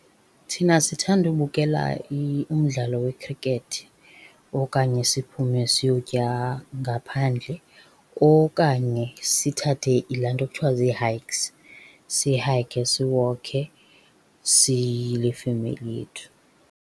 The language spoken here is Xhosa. Thina sithanda ubukela umdlalo wekhrikethi okanye siphume siyotya ngaphandle, okanye sithathe laa nto kuthiwa zii-hikes. Sihayikhe, siwokhe siyile femeli yethu.